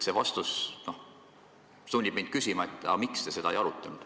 See vastus sunnib mind küsima, miks te seda ei arutanud.